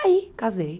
Aí, casei.